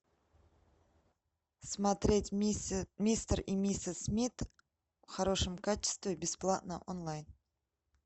смотреть мистер и миссис смит в хорошем качестве бесплатно онлайн